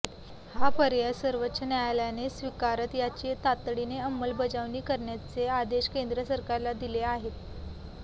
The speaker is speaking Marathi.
हा पर्याय सर्वोच्च न्यायालयाने स्वीकारत याची तातडीने अंमलबजावणी करण्याचे आदेश केंद्र सरकारला दिले आहेत